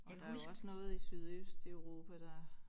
Og der jo også noget i Sydøsteuropa der